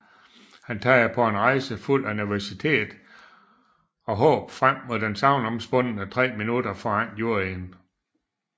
Han tager på en rejse fuld af nervøsitet og håb frem mod de sagnomspundne tre minutter foran juryen